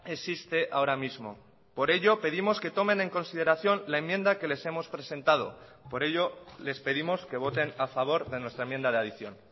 existe ahora mismo por ello pedimos que tomen en consideración la enmienda que les hemos presentado por ello les pedimos que voten a favor de nuestra enmienda de adición